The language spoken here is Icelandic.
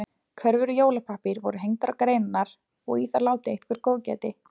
Körfur úr jólapappír voru hengdar á greinarnar og í þær látið eitthvert góðgæti.